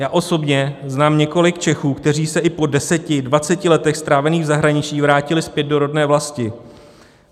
Já osobně znám několik Čechů, kteří se i po deseti, dvaceti letech strávených v zahraničí vrátili zpět do rodné vlasti.